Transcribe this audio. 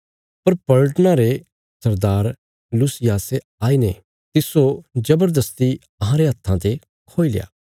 पर पलटना रे सरदार लूसियासे आईने तिस्सो जबरदस्ती अहांरे हत्था ते खोईल्या